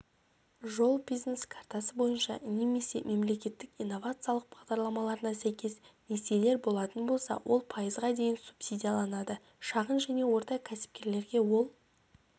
жол бизнес картасы бойынша немесе мемлекеттік инновациялық бағдарламаларына сәйкес несиелер болатын болса ол пайызға дейін субсидияланады шағын және орта кәсіпкерлерге ол